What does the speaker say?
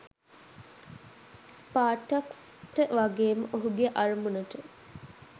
ස්පාටක්ස්ට වගේම ඔහුගේ අරමුණට.